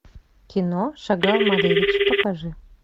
кино шагал малевич покажи